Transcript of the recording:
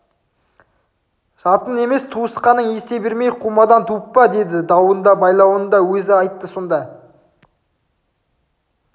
жатың емес туысқаның есе бермей қумадан туып па деді дауын да байлауын да өзі айтты сонда